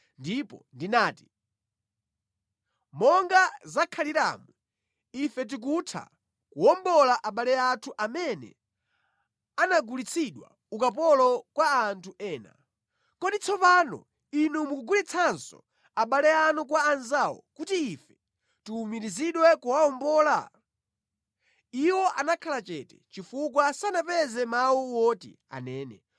ndipo ndinati, “Monga zakhaliramu ife tikutha kuwombola abale anthu amene anagulitsidwa ukapolo kwa anthu ena. Kodi tsopano inu mukugulitsanso abale anu kwa anzawo kuti ife tiwumirizidwe kuwawombola?” Iwo anakhala chete, chifukwa sanapeze mawu oti anene.